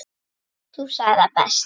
Þú sagðir það best.